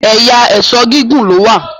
ẹyà Èṣó gígùn ló wá